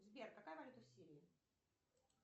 сбер какая валюта в сирии